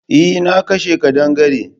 Eh na kashe kadangare.